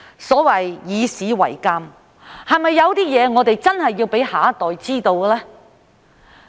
所謂"以史為鑒"，是否有些事情我們真的要讓下一代知道呢？